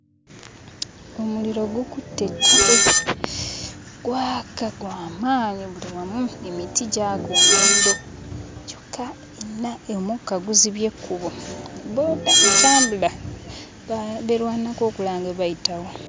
Omuliro gukutte ettale. Gwaka, gwa maanyi buli wamu emiti gyaka omuliro. Kyokka omukka guzibye ekkubo, bbooda entambula beerwanako okulaba nga bayitawo.